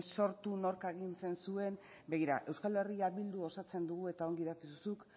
sortu nork agintzen zuen begira euskal herria bildu osatzen dugu eta ongi dakizu zuk